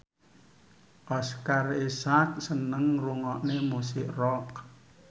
Oscar Isaac seneng ngrungokne musik rock